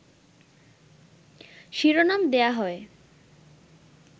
শিরোনাম দেয়া হয়